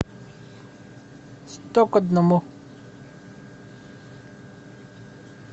сто к одному